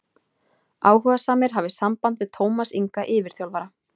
Áhugasamir hafi samband við Tómas Inga yfirþjálfara.